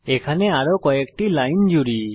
এখানে আরো কয়েকটি লাইন জুড়ি